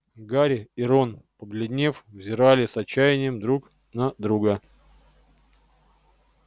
гарри и рон побледнев взирали с отчаянием друг на друга